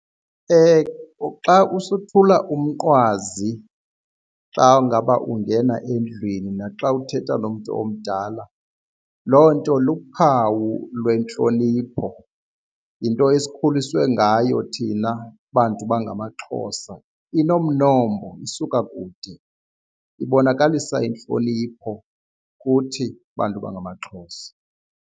Xa usothula umnqwazi xa ngaba ungena endlwini naxa uthetha nomntu omdala loo nto luphawu lwentlonipho, yinto esikhuliswe ngayo thina bantu bangamaXhosa. Inomnombo, isuka kude, ibonakalisa intlonipho kuthi bantu bangamaXhosa.